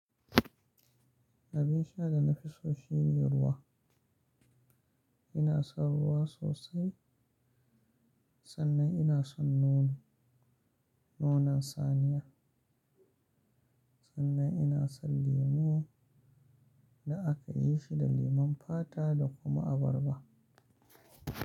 Abin sha da na fi so shine ruwa. Ina son ruwa sosai. Sannan ina son nono, nonon saniya. Sannan ina son lemo da aka yi shi da lemon fata da kuma abarba.